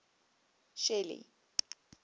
shelly